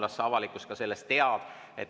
Las avalikkus sellest teab.